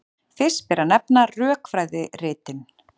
Fyrst ber að nefna rökfræðiritin.